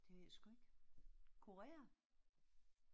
Det ved jeg sgu ikke. Korea?